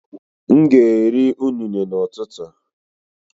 M ga-eri unne n’ụtụtụ